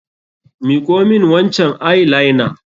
Miƙo min wancan eye liner!